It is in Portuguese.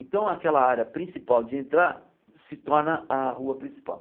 Então, aquela área principal de entrar se torna a rua principal.